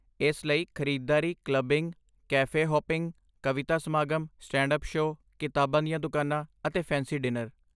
ਇਸ ਲਈ, ਖ਼ਰੀਦਦਾਰੀ, ਕਲੱਬਿੰਗ, ਕੈਫੇ ਹੌਪਿੰਗ, ਕਵਿਤਾ ਸਮਾਗਮ, ਸਟੈਂਡ ਅੱਪ ਸ਼ੋਅ, ਕਿਤਾਬਾਂ ਦੀਆਂ ਦੁਕਾਨਾਂ, ਅਤੇ ਫੈਂਸੀ ਡਿਨਰ